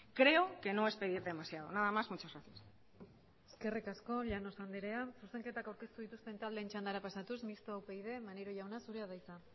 creo que no es pedir demasiado nada más muchas gracias eskerrik asko llanos andrea zuzenketak aurkeztu dituzten taldeen txandara pasatuz mistoa upyd maneiro jauna zurea da hitza